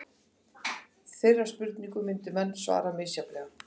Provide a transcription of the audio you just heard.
Þeirri spurningu myndu menn svara misjafnlega.